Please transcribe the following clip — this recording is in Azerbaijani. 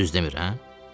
Düz demirəm, hə?